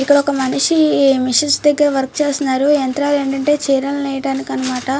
ఇక్కడ ఒక మనిషి మెషిన్ దగ్గర వర్క్ చేస్తునారు యంత్రాలు ఏంటిఅంటే చీరలు నేయడానికి అనమాట.